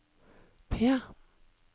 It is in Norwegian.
P